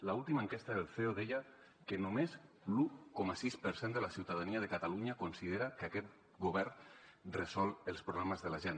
l’última enquesta del ceo deia que només l’un coma sis per cent de la ciutadania de catalunya considera que aquest govern resol els problemes de la gent